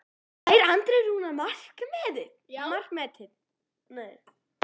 Slær Andri Rúnar markametið?